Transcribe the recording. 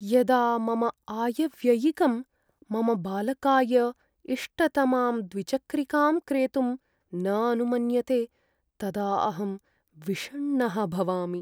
यदा मम आयव्ययिकं, मम बालकाय इष्टतमां द्विचक्रिकां क्रेतुं न अनुमन्यते तदा अहं विषण्णः भवामि।